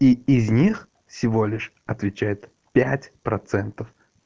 и из них всего лишь отвечает пять процентов